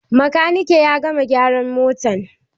Makaniki ya gama gyaran motan?